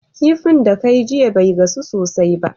Kifin da kayi jiya be gasu sosai ba